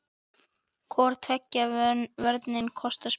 Hvor tveggja vörnin kostar spilið.